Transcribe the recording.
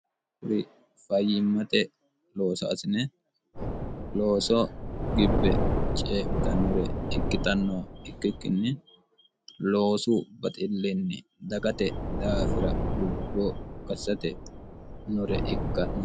huri fayyimmate loosoasine looso gibbe cee'mitannore ikkixanno ikkikkinni loosu baxillinni dagate daafira lubbo gassate nore ikkanno